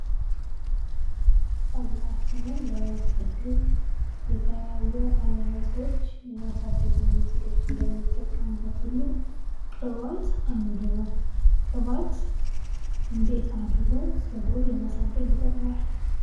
ፀጉራችንን ለማሳደግ የተለያዩ አይነቶች የማሳደጊያ ሜትዶች እንደምንጠቀምበት ሁሉ ቅባት አንዱ ነው ። ቅባት እንዴት አድርጎ ጸጉርን ለማሳደግ ይጠቅማል ?